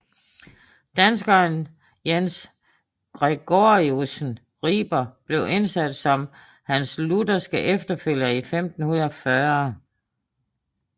Danskeren Jens Gregoriussen Riber blev indsat som hans lutherske efterfølger i 1540